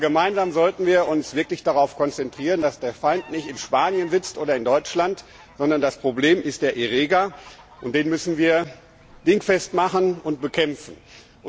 Aber gemeinsam sollten wir uns wirklich darauf konzentrieren, dass der Feind nicht in Spanien oder in Deutschland sitzt, sondern das Problem der Erreger ist, den wir dingfest machen und bekämpfen müssen.